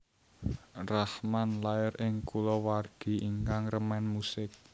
Rahman lair ing kulawargi ingkang remen musik